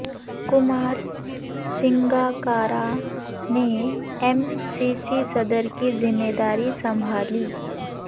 کمار سنگاکارا نے M C C صدر کی ذمہ داری سنبھالی